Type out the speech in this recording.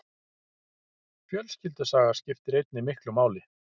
Fjölskyldusaga skiptir einnig miklu máli.